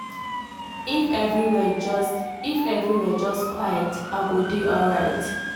if everywhere just if everywhere just quiet small i go dey alright.